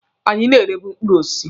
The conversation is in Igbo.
Anyị na-erebu mkpụrụ osisi.